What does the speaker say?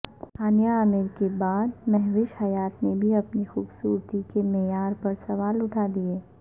ہانیہ عامرکے بعد مہوش حیات نے بھی خوبصورتی کے معیارپرسوال اٹھادئیے